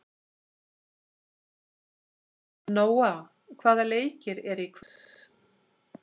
Nóa, hvaða leikir eru í kvöld?